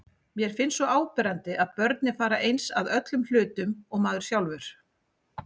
Mér finnst svo áberandi að börnin fara eins að öllum hlutum og maður sjálfur.